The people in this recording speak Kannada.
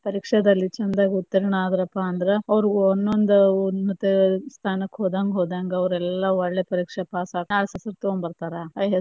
ಪರೀಕ್ಷೆದಲ್ಲಿ ಚಂದಗಾ ಉತ್ತೀರ್ಣ ಅದರಪಾ ಅಂತಂದ್ರ ಅವ್ರ ಒನ್ನೊಂದ ಉನ್ನತ ಸ್ಥಾನಕ್ಕ ಹೋದಂಗ ಹೋದಂಗ ಅವ್ರ ಎಲ್ಲಾ ಒಳ್ಳೆ ಪರೀಕ್ಷೆ pass ಆಗಿ ಹೆಸರ ತೊಗೊಂಡ ಬರ್ತಾರ.